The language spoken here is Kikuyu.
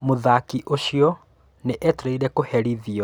Mũthaki ũcio nĩ etereire kũherithĩo